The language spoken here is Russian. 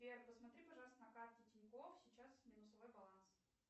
сбер посмотри пожалуйста на карте тинькофф сейчас минусовой баланс